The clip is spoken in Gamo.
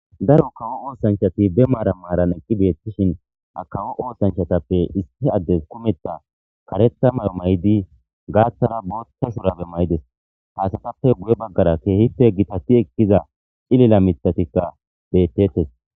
Daro kawo oththanchati be maran maran eqqi bettishin ha kawo oththanchattappe issi adde kummetha kareththa mayo mayidi gaththara boththa shurabbe mayides haysattappe guye baggara kehippe gitati ekkiza cilile miththatika betetes.